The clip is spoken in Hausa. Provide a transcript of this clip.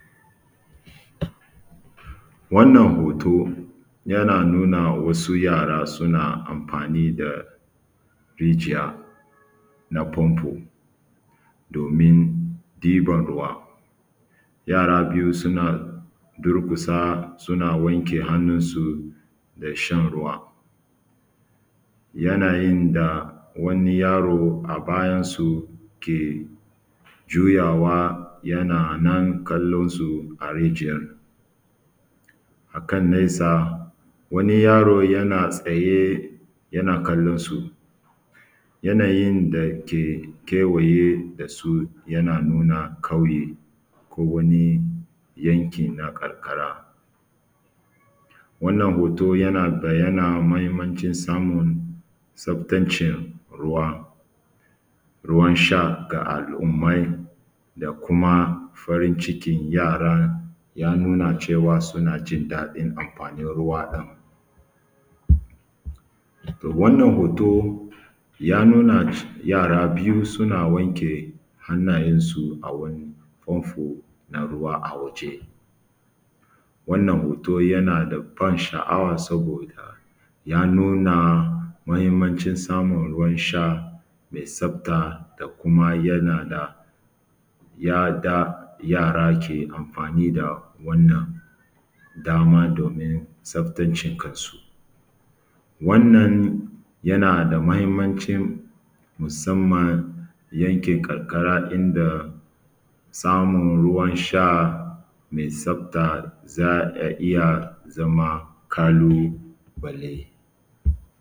Wannan hoto yana nuna wasu yara suna amfani da rijiya na fanfo domin ɗiban ruwa, yara biyu suna durƙusa suna wanke hannunsu da shan ruwa yanayin da wani yaro a bayan su ke juyawa yana nan kallon su a reijiyar, a kan nesa wani yaro yana tsaye yana kallon su yanayin da kewaye da su yana nuna ƙauye ko wani yanki na karkara. Wannan hoto yana yana mahinmancin samun tsaftancin ruwa, ruwan sha ga a kummai da kuma farin cikin yara ya nuna cewa suna jin daɗin anfani da ruwa ɗin, wannan hoto ya nuna yara biyu sun wanke hannayen su a wani fanfo na ruwa a waje wannan hoto yana da ban sha’awa saboda ya nuna mahinmacin samun ruwan sha mai tsafta da kuma yana da yanda yara ke amfani da wannan dama domin tsaftace kansu, wannan yanda da mahinmancin musamman yankin karkara inda samun ruwan sha me tsafta za ya iya zama ƙalubale.